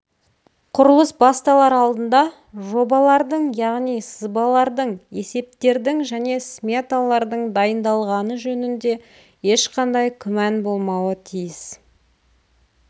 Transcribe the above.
құрылыс басталар алдында жобалардың яғни сызбалардың есептердің және сметалардың дайындалғаны жөнінде ешқандай күмән болмауы тиіс